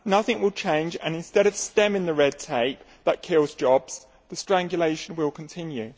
Nothing will change and, instead of stemming the red tape that kills jobs, the strangulation will continue.